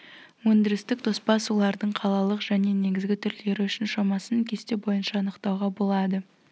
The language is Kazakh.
өндірістік тоспа сулардың қалалық және негізгі түрлері үшін шамасын кесте бойынша анықтауға болады